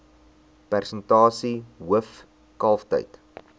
persentasie hoof kalftyd